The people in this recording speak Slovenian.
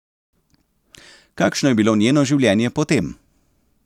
Kakšno je bilo njeno življenje potem?